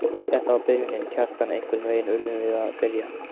Þetta var byrjunin, Kjartan, einhvern veginn urðum við að byrja.